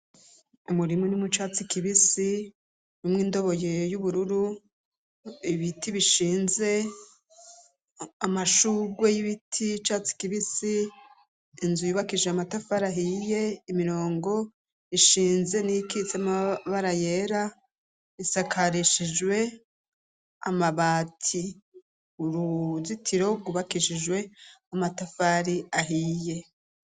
Umurimwu ni umu catsi kibisi umwe indoboye y'ubururu ibiti bishinze amashurwe y'ibiti catsi kibisi inzu yubakije amatafarahiye imirongo ishinze n'ikitse amabara yera isakarishijwe amabati uruzitiro gubakishijwe amatafari ahiye.